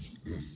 Unhun